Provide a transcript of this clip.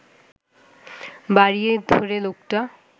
বাড়িয়ে ধরে লোকটা